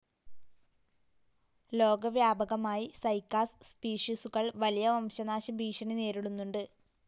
ലോകവ്യാപകമായി cycas സ്പീഷീസുകൾ വലിയ വംശനാശഭീഷണി നേരിടുന്നുണ്ട്.